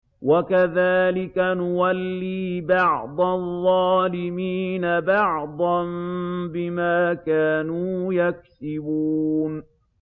وَكَذَٰلِكَ نُوَلِّي بَعْضَ الظَّالِمِينَ بَعْضًا بِمَا كَانُوا يَكْسِبُونَ